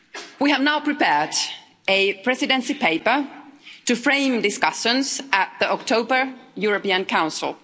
We have now prepared a presidency paper to frame discussions at the October European Council.